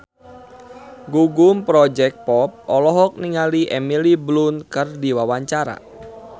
Gugum Project Pop olohok ningali Emily Blunt keur diwawancara